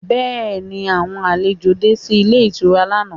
Bẹ́ẹ̀ni, àwọn àlejò de sí ilé ìtura lánàá